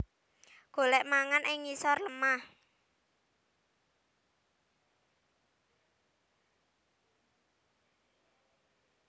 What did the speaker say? Golèk mangan ing ngisor lemah